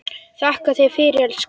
Þakka þér fyrir, elskan.